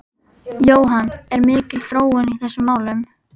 Jóhann, er mikil þróun í þessum málum?